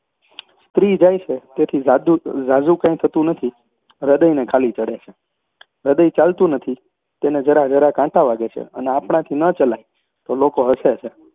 સ્ત્રી જાય છે તેથી ઝાદુ ઝાઝું કાંઈ થતું નથી હૃદયને ખાલી ચડે છે હૃદય ચાલતું નથી તેને જરાજરા કાંટા વાગે છે, અને આપણાથી ન ચલાય તો લોકો હસે છે